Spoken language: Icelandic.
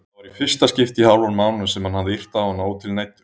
Það var í fyrsta skipti í hálfan mánuð sem hann hafði yrt á hana ótilneyddur.